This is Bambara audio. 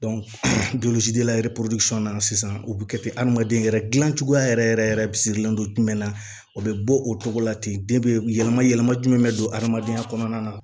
yɛrɛ na sisan o bi kɛ ten adamaden yɛrɛ gilancogoya yɛrɛ yɛrɛ yɛrɛ don jumɛn na o be bɔ o cogo la ten yɛlɛma yɛlɛma jumɛn bɛ don hadamadenya kɔnɔna na